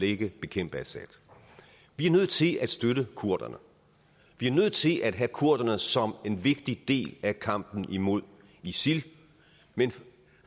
ikke bekæmpe assad vi er nødt til at støtte kurderne vi er nødt til at have kurderne som en vigtig del af kampen imod isil men